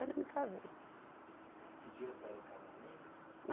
me casei. Ele pediu a senhora em casamento?